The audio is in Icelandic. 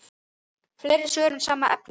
En hvernig verður veðrið þar?